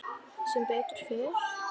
Sem betur fer?